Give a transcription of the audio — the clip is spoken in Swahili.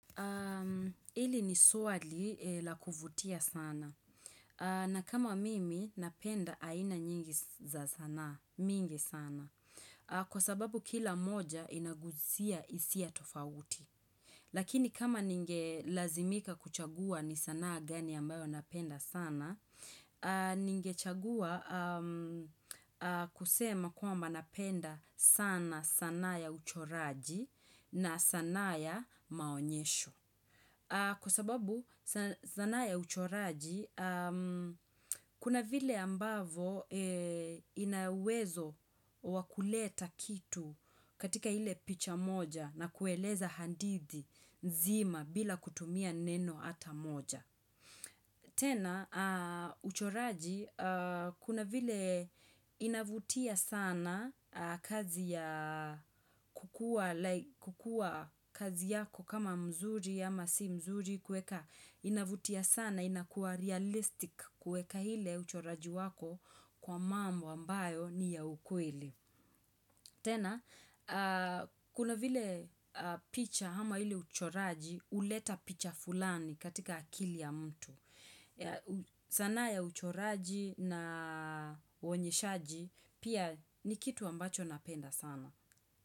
Hili ni swali la kuvutia sana. Na kama mimi napenda aina nyingi za sanaa, mingi sana. Kwa sababu kila mmoja inaguzia isia tofauti. Lakini kama ningelazimika kuchagua ni sanaa gani ambayo napenda sana, ningechagua kusema kwamba napenda sana sanaa ya uchoraji na sanaa ya maonyesho. Kwa sababu sanaa ya uchoraji, kuna vile ambavyo inauwezo wakuleta kitu katika ile picha moja na kueleza hadithi nzima bila kutumia neno ata moja. Tena, uchoraji, kuna vile inavutia sana kazi ya kukuwa kazi yako kama mzuri ama si mzuri kueka. Inavutia sana, inakua realistic kueka ile uchoraji wako kwa mambo ambayo ni ya ukweli. Tena, kuna vile picha ama ile uchoraji, uleta picha fulani katika akili ya mtu. Sanaa ya uchoraji na uonyeshaji pia ni kitu ambacho napenda sana.